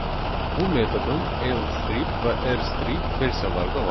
Bu metodun L strip və R strip versiyaları da var.